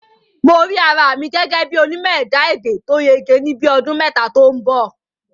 Mo rí ara mi gẹ́gẹ́ bí onímọ̀ ẹ̀dá-èdè tó yege ní bíi ọdún mẹ́ta tó ń bọ̀